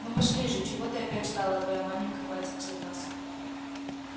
ну пошли же чего ты опять стала твоя маменька хватится нас